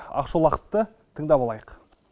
ақшолақовты тыңдап алайық